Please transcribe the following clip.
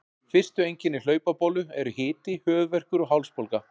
Fyrstu einkenni hlaupabólu eru hiti, höfuðverkur og hálsbólga.